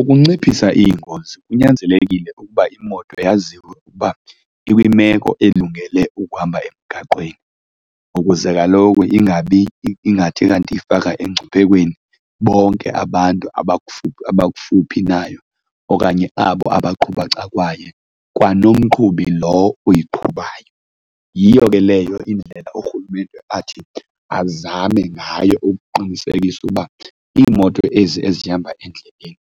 Ukunciphisa iingozi kunyanzelekile ukuba imoto yaziwe ukuba ikwimeko elungele ukuhamba emgaqweni ukuze kaloku ingabi ingathi kanti iyifaka emngciphekweni bonke abantu abakufuphi nayo okanye abo abaqhuba ecakwayo, kwanomqhubi lo uyiqhubayo. Yiyo ke leyo indlela urhulumente athi azame ngayo ukuqinisekisa uba iimoto ezi ezihamba endleleni